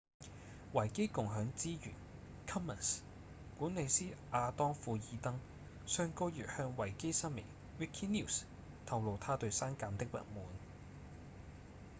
維基共享資源 commons 管理師亞當‧庫爾登上個月向維基新聞 wikinews 透露他對刪減的不滿